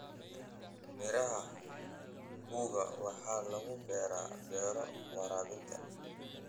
Miraha mpunga waxaa lagu beeraa beero waraabinta.